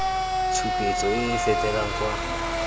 tshupetso e e fetelang kwa